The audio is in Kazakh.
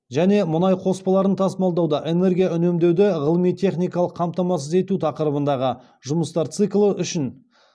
және мұнай қоспаларын тасымалдауда энергия үнемдеуді ғылыми техникалық қамтамасыз ету тақырыбындағы жұмыстар циклі үшін